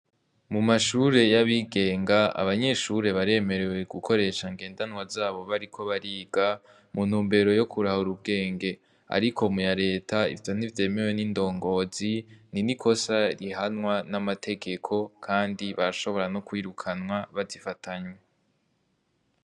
Mu mashure y'abigenga, abanyeshure baremerewe gukoresha ngendanwa zabo bariko bariga, mu ntumbero yo kurahura ubwenge. Ariko mu ya Leta, ivyo ntivyemewe n'indongozi. Ni n'ikosa rihanwa n'amategeko, kandi barashobora kwirukanwa bazifatanywe.